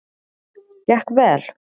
Gekk vel?